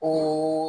O